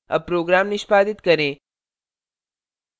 अब program निष्पादित करें